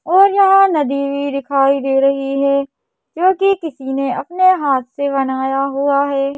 और यहां नदी भी दिखाई दे रही है जो की किसी ने अपने हाथ से बनाया हुआ है।